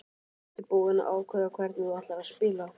Ertu búinn að ákveða hvernig þú ætlar að spila?